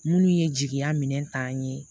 Minnu ye jigiya minɛ ta ye